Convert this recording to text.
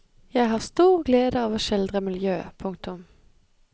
Jeg har stor glede av å skildre miljø. punktum